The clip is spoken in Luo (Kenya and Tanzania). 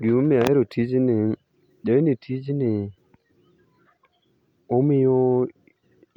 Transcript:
Gima omiyo ahero tijni ing'e tijni omiyo